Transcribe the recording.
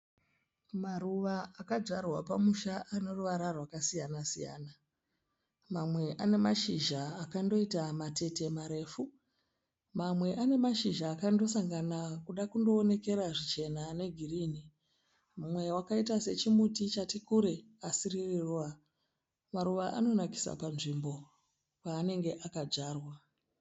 Maruva akadzvarwa pamusha aneruvara rwakasiyana-siyana. Mamwe anemashizha akandoita matete marefu. Mamwe anemashizha akandosangana kuda kundoonekera zvichena negirinhi. Mumwe wakaita sechimuti chati kure asi riri ruva. Maruva anonakisa panzvimbo paanenge akadzvarwa.